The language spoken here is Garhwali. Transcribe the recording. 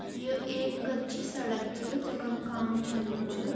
यो एक कच्ची सड़क च जखम काम चलणु च।